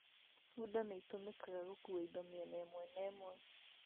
Funda nĩ itũmĩkaga gũkua indo mĩena ĩmwe na ĩmwe